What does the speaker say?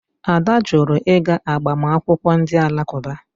Ada jụrụ ịga agbamakwụkwọ ndị Alakụba.